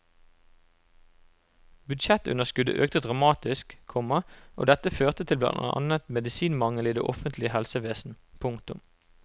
Budsjettunderskuddet økte dramatisk, komma og dette førte til blant annet medisinmangel i det offentlige helsevesenet. punktum